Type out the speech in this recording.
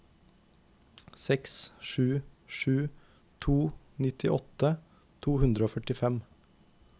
seks sju sju to nittiåtte to hundre og førtifem